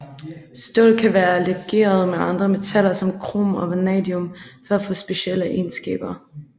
Stål kan være legeret med andre metaller som krom og vanadium for at få specielle egenskaber